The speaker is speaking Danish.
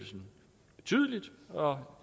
bare